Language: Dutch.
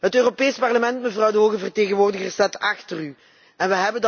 Het Europees Parlement, mevrouw de hoge vertegenwoordiger, staat achter u.